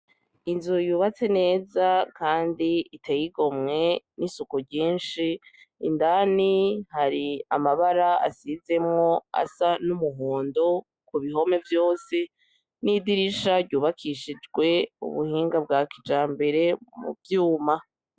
Inzu yubatse neza kandi iteye igomwe n'isuku ryishi indani hari amabara asizemwo asa n'umuhondo ku bihome vyose n'idirisha ryubakishijwe ubuhinga bwa kijambere mu vyuma.